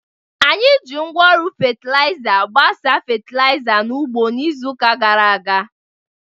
Anyị ji ngwa oru fatịlaịza gbasaa fatịlaịza n'ugbo n'izu gara aga.